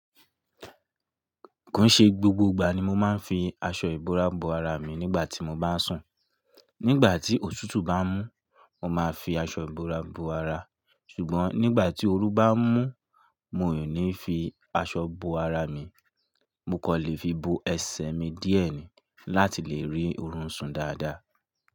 Kò n ṣe gbogbo ìgbà ni mo máa ń fi aṣọ ìbora bo ara mi nígbà tí mo bá sùn. Nígbà tí otùtú bá mú, mo máa fi aṣọ ìbora bo ara, ṣùgbọ́n nígbà tí oru bá mú, mi ò ní fi aṣọ bo ara mi, mo kò lè fi bo ẹsẹ̀ mi díẹ̀ ni láti lè rí orun sùn dáadáa.